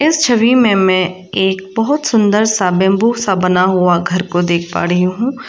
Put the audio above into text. इस छवि में मैं एक बहुत सुंदर सा बंबू सा बना हुआ घर को देख पा रही हूँ।